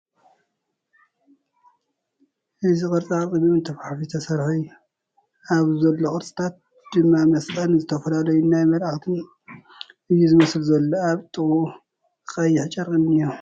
እዚ ቕርፃ ቕርፂ ብእምኒ ተፋሕፊሑ ዝተሰርሓ እዩ ኣብዚ ዘሎ ቕርፅታት ድማ መስቐልን ዝተፈላለዩ ናይ መልኣኻትን እዩ ዝመስል ዘሎ ፡ ኣብቲ ጥቕኡ ቐይሕ ጨርቒ እንሄ ።